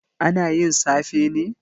Ana yin safe ne?